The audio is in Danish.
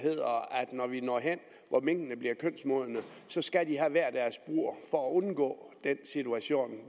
når vi når hen hvor minkene bliver kønsmodne skal de have hver deres bur for at undgå den situation